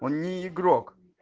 не игрок